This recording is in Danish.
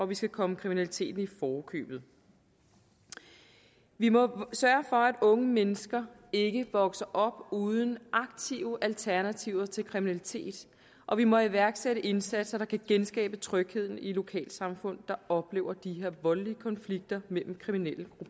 vi skal komme kriminaliteten i forkøbet vi må sørge for at unge mennesker ikke vokser op uden aktive alternativer til kriminalitet og vi må iværksætte indsatser der kan genskabe trygheden i lokalsamfund der oplever de her voldelige konflikter mellem kriminelle